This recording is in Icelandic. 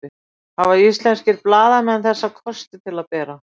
Hafa íslenskir blaðamenn þessa kosti til að bera?